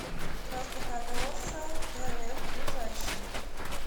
простоколесарф ближайший